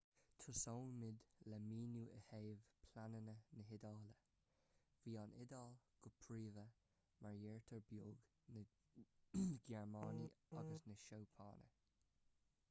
tosóimid le míniú i dtaobh pleananna na hiodáile bhí an iodáil go príomha mar deartháir beag na gearmáine agus na seapáine